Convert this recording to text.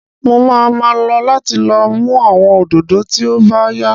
Mo máa ma lọ láti lọ mú àwọn òdòdó tí ó bá yá